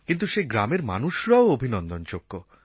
কিন্তু সেই গ্রামের মানুষরাও অভিনন্দনযোগ্য